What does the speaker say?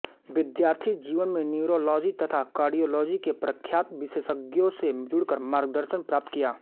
विद्यार्थी जीवन में न्यूरोलॉजी तथा कार्डियोलॉजी के प्रख्यात विशेषज्ञों से जुड़कर मार्गदर्शन प्राप्त किया